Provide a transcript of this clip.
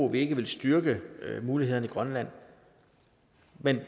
vi ikke vil styrke mulighederne i grønland men